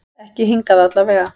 Ekki hingað til allavega.